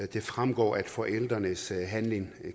det fremgår at forældrenes handling